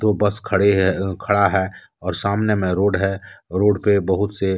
दो बस खड़े हैं खड़ा है और सामने में रोड है। रोड पे बहुत से--